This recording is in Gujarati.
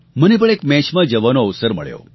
મને પણ એક મેચમાં જવાનો અવસર મળ્યો